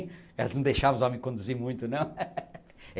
Elas não deixavam os homens conduzirem muito, não?